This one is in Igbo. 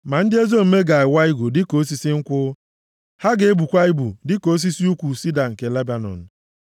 Ma ndị ezi omume ga-awa igu dịka osisi nkwụ; ha ga-ebukwa ibu dịka osisi ukwu sida nke Lebanọn,